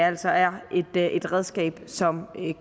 altså er er et redskab som